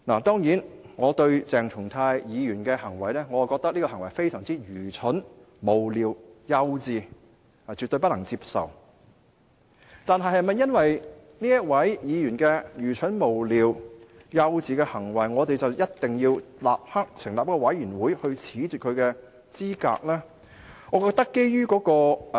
當然，我認為鄭松泰議員的行為非常愚蠢、無聊和幼稚，絕對不能接受，但是否因為議員愚蠢、無聊和幼稚的行為而一定要立刻成立一個調查委員會褫奪其資格呢？